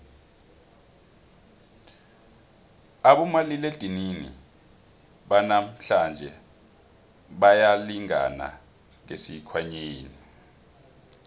abomaliledinini banamhlanje bayalingana ngesikhwanyeni